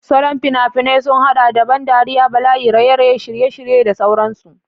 Salon fina-finai sun haɗa da ban dariya, bala'i, raye-raye, shirye-shirye, da sauran su.